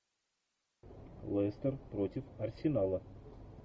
лестер против арсенала